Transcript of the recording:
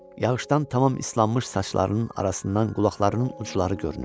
Yağışdan tamam islanmış saçlarının arasından qulaqlarının ucları görünürdü.